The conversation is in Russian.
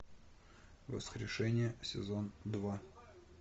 воскрешение сезон два